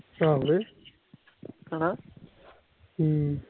ਅਮ